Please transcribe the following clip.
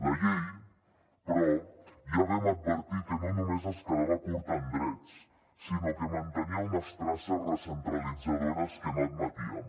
la llei però ja vam advertir que no només es quedava curta en drets sinó que mantenia unes traces recentralitzadores que no admetíem